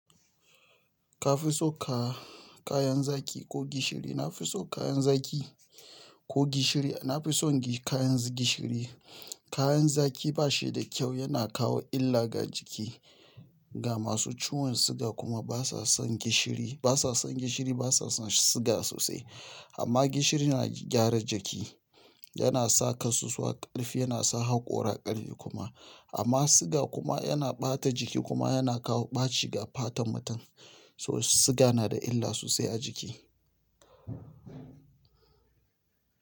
Ka fi so ka kayan zaki ko gishiri? Na fi so kayan zaki ko gishiri? Na fi son kayan gishiri. Kayan zaki ba shi da kyau, yana kawo illa ga jiki. Ga masu ciwon siga kuma basason gishiri, basa son gishiri basason siga sosai amma gishiri na gyara jiki, yana saka su suka ƙarfi, yana sa haƙora ƙarfi kuma. Amma siga kuma yana ɓata jiki kuma yana kawo ɓaci ga fatan mutum. So siga na da illa sosai a jiki.